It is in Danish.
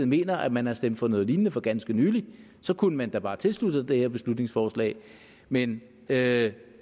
mener at man har stemt for noget lignende for ganske nylig så kunne man da bare tilslutte sig det her beslutningsforslag men det